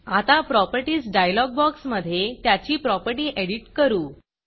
आता Propertiesप्रॉपर्टीस डायलॉग बॉक्समधे त्याची प्रॉपर्टी एडिट करू